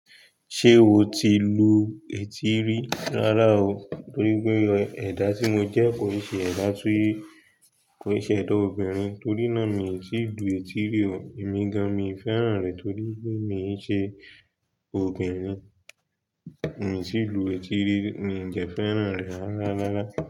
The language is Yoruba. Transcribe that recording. Ṣé o ti lu etí rí? Rárá o, torí pé ẹ̀dá tí mo jẹ́ kò rí ṣe ẹ̀dá túré. Kò rí ṣe ẹ̀dá obìnrin, torí náà mi ò tíì lu etí rí o. Èmi gan, mi ò fẹ́ràn rẹ̀ torí pé mi ò ṣe obìnrin. Mi ò tíì lu etí rí, mi ò dẹ́ fẹ́ràn rẹ̀ rárá.